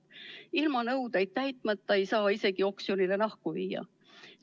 Ilma nõudeid täitmata ei saa isegi oksjonile nahku viia.